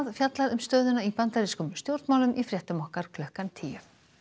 fjallað um stöðuna í bandarískum stjórnmálum í fréttum okkar klukkan tíu